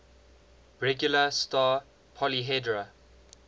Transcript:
regular star polyhedra